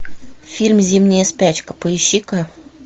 фильм зимняя спячка поищи ка